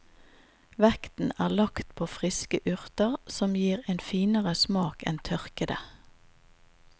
Vekten er lagt på friske urter, som gir en finere smak enn tørkede.